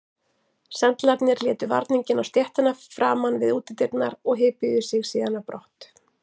Sendlarnir létu varninginn á stéttina framan við útidyrnar og hypjuðu sig síðan á brott.